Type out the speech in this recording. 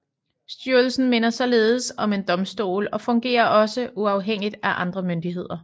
Styrelsen minder således om en domstol og fungerer også uafhængigt af andre myndigheder